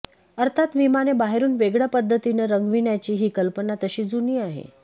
अर्थात विमाने बाहेरून वेगळ्या पद्धतीने रंगविण्याची ही कल्पना तशी जुनी आहे